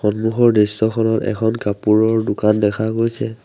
অন্মুখৰ দৃশ্যখনত এখন কাপোৰৰ দোকান দেখা গৈছে।